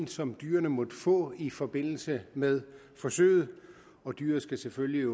som dyret måtte få i forbindelse med forsøget og dyret skal selvfølgelig